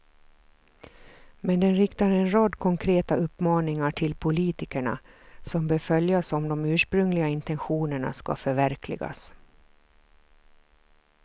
Men den riktar en rad konkreta uppmaningar till politikerna, som bör följas om de ursprungliga intentionerna ska förverkligas.